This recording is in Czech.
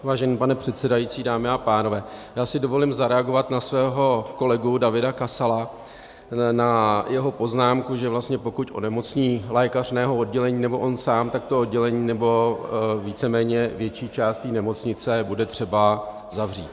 Vážený pane předsedající, dámy a pánové, já si dovolím zareagovat na svého kolegu Davida Kasala, na jeho poznámku, že vlastně pokud onemocní lékař mého oddělení nebo on sám, tak to oddělení nebo víceméně větší část té nemocnice bude třeba zavřít.